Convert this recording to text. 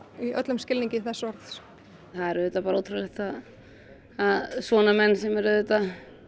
í öllum skilningi þess orðs það er auðvitað bara ótrúlegt að svona menn sem eru auðvitað